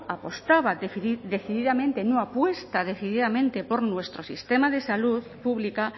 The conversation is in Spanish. apostaba decididamente no apuesta decididamente por nuestro sistema de salud pública